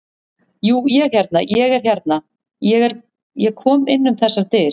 Jú, ég hérna. ég er hérna. ég kom inn um þessar dyr.